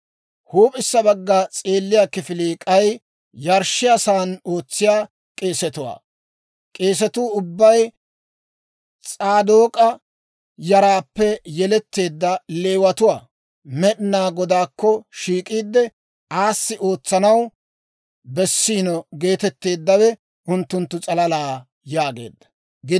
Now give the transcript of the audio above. Huup'issa bagga s'eelliyaa kifilii k'ay yarshshiyaasan ootsiyaa k'eesetuwaa. K'eesetuu ubbay S'aadook'a yaraappe yeletteedda Leewatuwaa; Med'inaa Godaakko shiik'iide, aassi ootsanaw bessiino geetetteeddawe unttunttu s'alala» yaageedda.